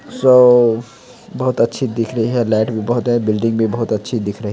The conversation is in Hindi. सो बहोत अच्छी दिख रही हैं लाइट भी बहोत हैं। बिल्डिंग भी बहोत अच्छी दिख रही